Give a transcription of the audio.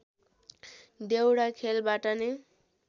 देउडा खेलबाट नै